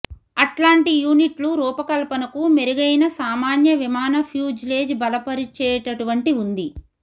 అట్లాంటి యూనిట్లు రూపకల్పనకు మెరుగైన సామాన్య విమాన ఫ్యూజ్లేజ్ బలపరిచేటటువంటి ఉంది